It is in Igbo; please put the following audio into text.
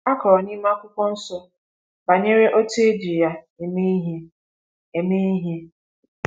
A kọrọ n’ime akwukwonsọ banyere etu eji ya eme ihe. eme ihe.